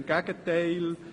Im Gegenteil